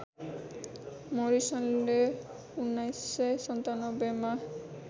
Morrison ले १९९७ मा